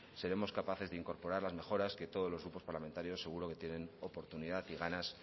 seremos capaces de incorporar las mejoras que todos los grupos parlamentarios seguro que tienen oportunidad y ganas